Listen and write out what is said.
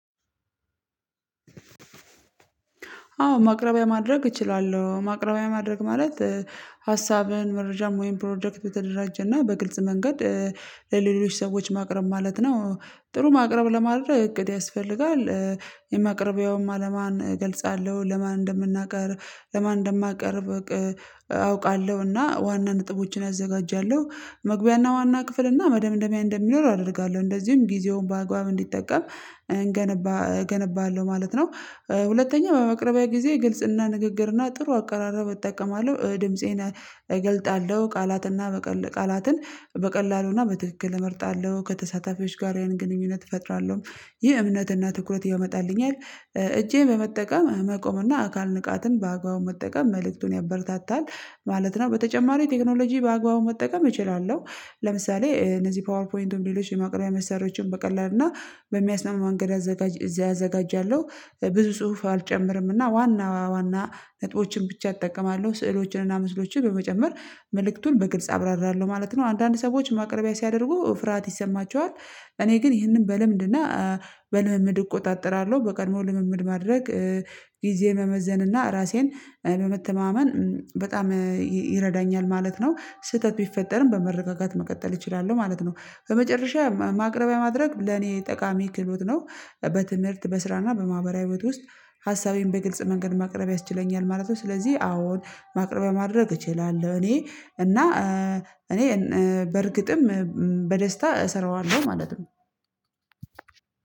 አዎ ማቅረቢያ ማድረግ እችላለሁ ማቅረቢያ ማድረግ ማለት መረጃም ወይም ፕሮጀክት በተደራጀና በግልጽ መንገድ ለሌሎች ሰዎች ማቅረብ ማለት ነው። ጥሩ ማቅረብ ለማድረግ እቅድ ያስፈልጋል። የማቅረቢያውም አላማን እገልጻለሁ ለማን እንደምናቀር ለማን እንደማቀርብ አውቃለሁ እና ዋና ነጥቦችን አዘጋጃለሁ መግቢያና ዋና ክፍል እና መደምደሚያ እንደሚኖር አደርጋለሁ እንደዚሁም ጊዜውን በአግባብ እንዲጠቀም እንገነባ እገነባለሁ ማለት ነው። ሁለተኛው በመቅረቢያ ጊዜ ግልጽና ንግግርና ጥሩ አቀራረብ እጠቀማለሁ ድምፄን እገልጣለሁ ቃላትና በቀል ቃላትን በቀላሉና በትክክል እመርጣለሁ ከተሳታፊዎች ጋር የአይን ግንኙነት እፈጥራለሁ ይህ እምነትና ትኩረት ያመጣልኛል። እጄ በመጠቀም መቆም እና አካል ንቃትን በአግባቡ መጠቀም መልእክቱን ያበረታታል ማለት ነው በተጨማሪ ቴክኖሎጂ በአግባቡ መጠቀም እችላለሁ። ለምሳሌ እነዚህ ፓወርፖይንትን ሌሎች የማቅረቢያ መሳሪያዎችን በቀላሉ እና በሚያስማማ መንገድ ያዘጋጃለሁ። ብዙ ጽሁፍ አልጨምርም እና ዋና ዋና ነጥቦችን ብቻ እጠቀማለሁ ስዕሎችን እና ምስሎችን በመጨመር መልእክቱን በግልጽ አብራራለሁ ማለት ነው። አንዳንድ ሰዎች ማቅረቢያ ሲያደርጉ ፍርሃት ይሰማቸዋል። እኔ ግን ይህንን በልምድና በልምምድ እቆጣጠራለሁ በቀድሞ ልምምድ ማድረግ ጊዜ መመዘንና ራሴን በመተማመን በጣም ይረዳኛል ማለት ነው። ስህተት ቢፈጠርም በመረጋጋት መቀጠል እችላለሁ ማለት ነው። በመጨረሻ ማቅረቢያ ማድረግ ለኔ ጠቃሚ ክህሎት ነው። በትምህርት በስራና በማህበራዊ ህይወት ውስጥ ሀሳቤን በግልጽ መንገድ ማቅረብ ያስችለኛል ማለት ነው። ስለዚህ አዎን ማቅረቢያ ማድረግ እችላለሁ እኔ እና እኔ በእርግጥም በደስታ እሰራዋለሁ ማለት ነው።